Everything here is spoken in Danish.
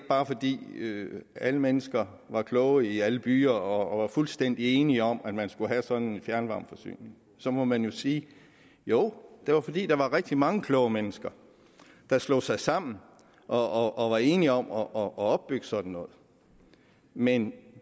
var fordi alle mennesker var kloge i alle byer og var fuldstændig enige om at man skulle have sådan en fjernvarmeforsyning så må man jo sige jo det var fordi der var rigtig mange kloge mennesker der slog sig sammen og og var enige om at opbygge sådan noget men